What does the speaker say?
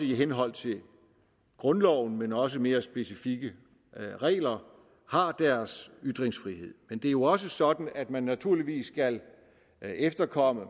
i henhold til grundloven men også mere specifikke regler har deres ytringsfrihed men det er jo også sådan at man naturligvis skal efterkomme